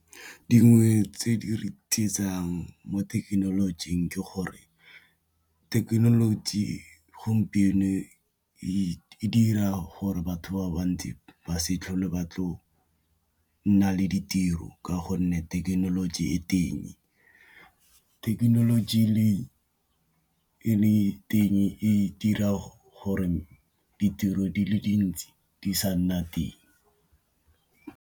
Dingwe tse di re tsietsang mo thekenolojing ke gore thekenoloji gompieno e dira gore batho ba bantsi ba se tlhole batlo nna le ditiro, ka gonne thekenoloji e teng thekenoloji teng e dira gore ditiro di le dintsi di sa nna teng.